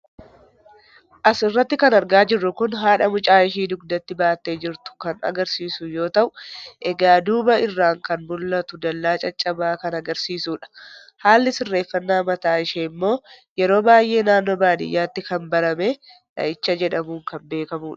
As irratti kan argaa jirru kun haadha mucaa ishee dugdatti baattee jirtu kan agarsiisu yoo ta'u, egaa duuba irraan kan mul'atu dallaa caccabaa kan agarsiisudha. haalli sirreeffannaa mataa isheemmoo yeroo baay'ee naannoo baadiyyaatti kan barame dhahicha jedhamuun kan beekamudha.